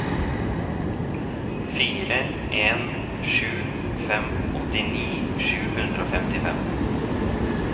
fire en sju fem åttini sju hundre og femtifem